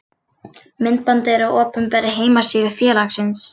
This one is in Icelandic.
Myndbandið er á opinberri heimasíðu félagsins.